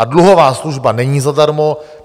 A dluhová služba není zadarmo.